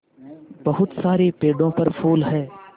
बहुत सारे पेड़ों पर फूल है